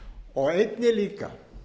og einnig líka